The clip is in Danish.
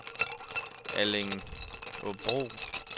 Allingåbro